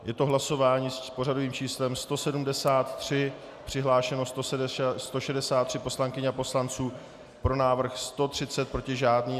Je to hlasování s pořadovým číslem 173, přihlášeno 163 poslankyň a poslanců, pro návrh 130, proti žádný.